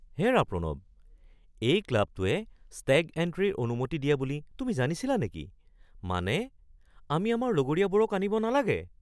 হেৰা প্ৰণৱ, এই ক্লাবটোৱে ষ্টেগ এণ্ট্ৰিৰ অনুমতি দিয়ে বুলি তুমি জানিছিলা নেকি? মানে আমি আমাৰ লগৰীয়াবোৰক আনিব নালাগে!